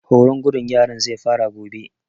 Horon gudun yaran zai fara gobe